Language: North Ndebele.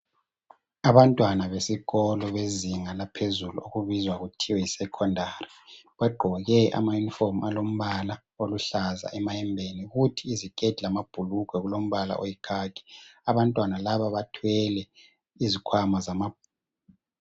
Abantwana besikolo bezinga laphezulu okubizwa kuthiwe yisecondary bagqoke amayunifomu alombala oluhlaza emayembeni kuthi iziketi lamabhulugwe kulombala oyikhakhi. Abantwana laba bathwele izikhwama zamabhuku.